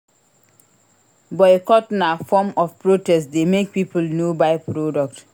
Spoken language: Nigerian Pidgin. Boycott na form of protest dey make people no buy product.